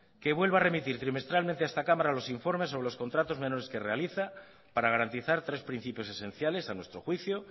que vuelva a remitir trimestralmente a esta cámara los informes sobre los contratos menores que realiza para garantizar tres principios esenciales a nuestro juicio